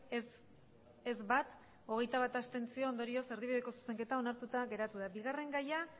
bat ez hogeita bat abstentzio ondorioz erdibideko zuzenketa onartuta geratu da bigarren gaia